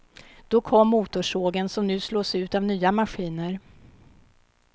Då kom motorsågen, som nu slås ut av nya maskiner.